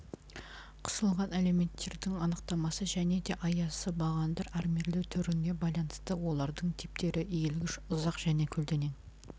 қысылған элементтердің анықтамасы және де аясы бағандар армирлеу түріне байланысты олардың типтері иілгіш ұзақ және көлденең